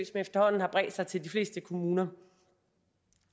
efterhånden har bredt sig til de fleste kommuner